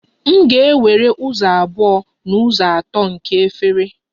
M ga-ewere ụzọ abụọ n'ụzọ atọ nke efere